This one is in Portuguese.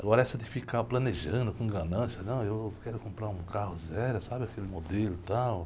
Agora essa de ficar planejando com ganância, não, eu quero comprar um carro zero, sabe, aquele modelo e tal.